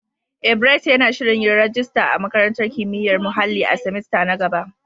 Eh, Bright yana shirin yin rajista a Makarantar Kimiyyar Muhalli na semester na gaba.